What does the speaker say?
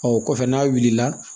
Ɔ kɔfɛ n'a wulila